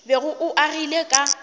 bego o o agile ka